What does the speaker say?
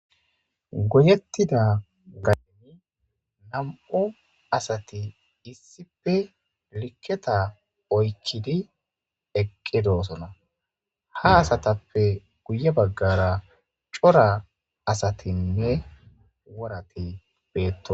Goyettida gayni nam7u asati issipe likketa oykkidi eqqedoosona ha asatappe guye baggara cora asatinne worati beetto.